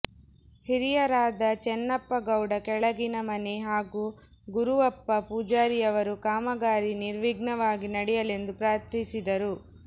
ಹಿರಿಯರಾದ ಚೆನ್ನಪ್ಪ ಗೌಡ ಕೆಳಗಿನ ಮನೆ ಹಾಗೂ ಗುರುವಪ್ಪ ಪೂಜಾರಿಯವರು ಕಾಮಗಾರಿ ನಿರ್ವಿಘ್ನವಾಗಿ ನಡೆಯಲೆಂದು ಪ್ರಾರ್ಥಿಸಿದರು